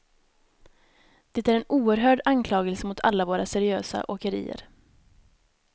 Det är en oerhörd anklagelse mot alla våra seriösa åkerier.